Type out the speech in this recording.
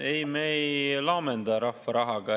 Ei, me ei laamendada rahva rahaga.